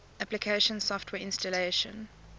application software installation